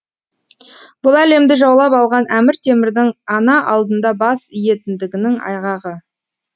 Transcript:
бұл әлемді жаулап алған әмір темірдің ана алдында бас иетіндігінің айғағы